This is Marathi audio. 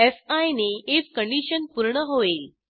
फी नी आयएफ कंडिशन पूर्ण होईल